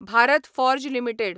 Bharat Forge limited